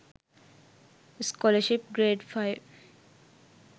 scholarship grade 05